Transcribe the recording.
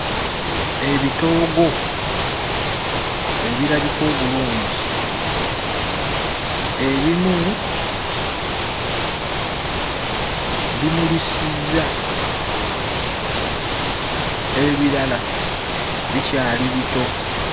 Ebitoogo ebirabika obulungi. Ebimu bimulisizza. Ebirala bikyali bito.